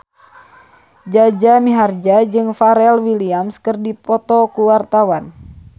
Jaja Mihardja jeung Pharrell Williams keur dipoto ku wartawan